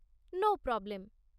No problem.